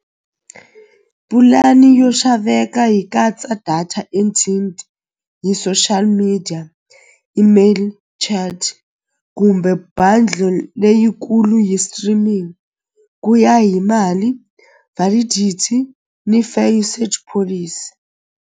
Pulani yo xaveka hi katsa data hi social media email chat kumbe buddle leyikulu hi streaming ku ya hi mali validity ni fair usage policy.